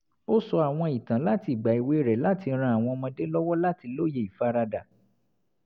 ó sọ àwọn ìtàn láti ìgbà èwe rẹ̀ láti ran àwọn ọmọdé lọ́wọ́ láti lóye ìfaradà